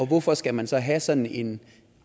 hvorfor skal man så have sådan en